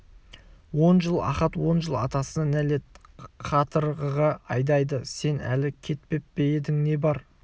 он жыл ахат он жыл атасына нәлет қатырғыға айдайды сен әлі кетпеп пе едің не бар